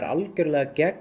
gegn